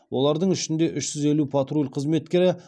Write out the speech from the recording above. олардың ішінде үш жүз елу патруль қызметкері